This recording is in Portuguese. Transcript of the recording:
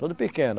Todo pequeno.